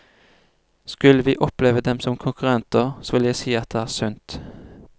Skulle vi oppleve dem som konkurrenter, så vil jeg si at det er sunt.